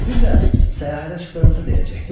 Sizin də səyahətə çıxdığınızı deyəcəkdi.